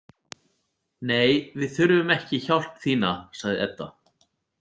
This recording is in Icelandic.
Nei, við þurfum ekki hjálp þína, sagði Edda.